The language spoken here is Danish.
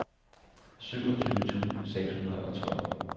syvogtyve tusind seks hundrede og tolv